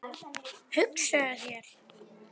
Hugsaðu þér!